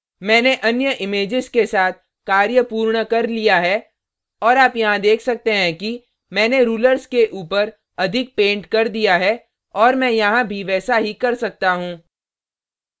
मैंने अन्य images के साथ कार्य पूर्ण कर लिया है और आप यहाँ देख सकते हैं कि मैंने rulers के ऊपर अधिक painted कर दिया है और मैं यहाँ भी वैसा ही कर सकता हूँ